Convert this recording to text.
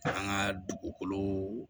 An ka dugukolo